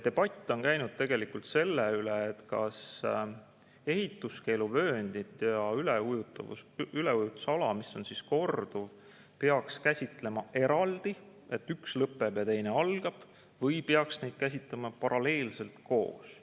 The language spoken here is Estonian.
Debatt on käinud tegelikult selle üle, kas ehituskeeluvööndit ja korduva üleujutuse ala peaks käsitlema eraldi, nii et üks lõpeb ja teine algab, või peaks neid käsitlema paralleelselt koos.